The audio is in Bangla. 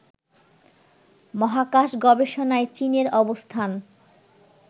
মহাকাশ গবেষণায় চীনের অবস্থান